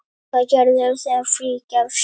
Hvað gerirðu þegar frí gefst?